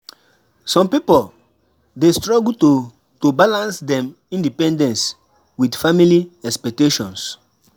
Some pipo dey struggle to to balance dem independence with family expectations.